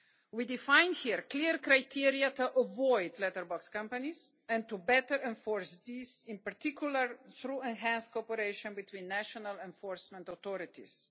We define here clear criteria to avoid letterbox companies and to better enforce this, in particular through enhanced cooperation between national enforcement authorities.